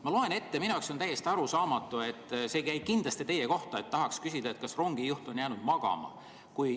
Ma loen ette, mis on minu jaoks täiesti arusaamatu – see ei käi kindlasti teie kohta –, ja tahaks küsida, kas rongijuht on jäänud magama.